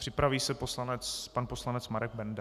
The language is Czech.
Připraví se pan poslanec Marek Benda.